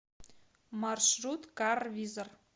маршрут карвизор